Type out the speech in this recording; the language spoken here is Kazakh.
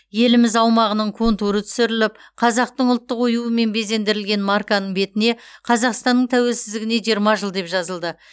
еліміз аумағының контуры түсіріліп қазақтың ұлттық оюымен безендірілген марканың бетіне қазақстанның тәуелсіздігіне жиырма жыл деп жазылды